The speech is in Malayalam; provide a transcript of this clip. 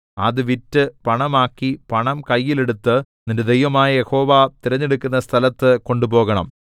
അത് വിറ്റ് പണമാക്കി പണം കയ്യിൽ എടുത്ത് നിന്റെ ദൈവമായ യഹോവ തിരഞ്ഞെടുക്കുന്ന സ്ഥലത്ത് കൊണ്ടുപോകണം